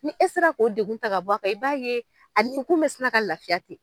Ni e sera k'o degun ta ka bɔ a kan, i b'a ye a ni kun bɛ sina ka lafiya ten.